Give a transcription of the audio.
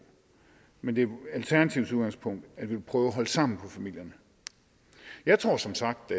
men det er alternativets udgangspunkt at vi vil prøve at holde sammen på familierne jeg tror som sagt